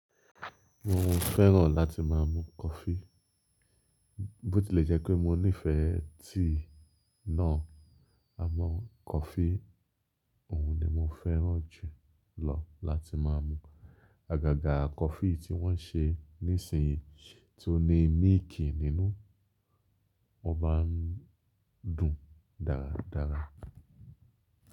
Mo fẹ́ràn láti máa mu coffee. Bó tilẹ̀ jẹ́ pé mo nífẹ̀ẹ́ tea náà, àmọ́ coffee òun ni mo fẹ́ràn jù lọ láti máa mu. Àgàgà coffee tí wọ́n ṣe nísinsìnyí tí ó ní milk nínú, ó maá ń dùn dáradára.